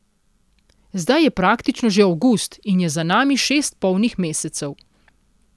Zdaj je praktično že avgust in je za nami šest polnih mesecev.